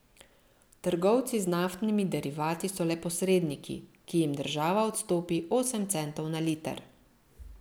Trgovci z naftnimi derivati so le posredniki, ki jim država odstopi osem centov na liter.